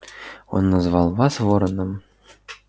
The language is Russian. он называл вас вороном